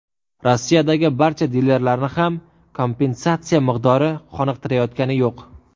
Rossiyadagi barcha dilerlarni ham kompensatsiya miqdori qoniqtirayotgani yo‘q.